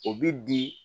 O bi di